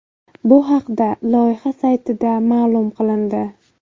Bu haqda loyiha saytida ma’lum qilindi .